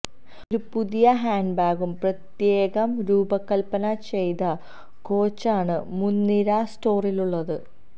ഒരു പുതിയ ഹാൻഡ്ബാഗും പ്രത്യേകം രൂപകൽപന ചെയ്ത കോച്ചാണ് മുൻനിര സ്റ്റോറിലുള്ളത്